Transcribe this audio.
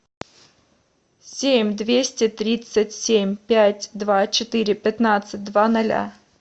семь двести тридцать семь пять два четыре пятнадцать два ноля